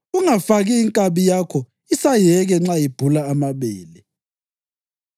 Ungafaki inkabi yakho isayeke nxa ibhula amabele.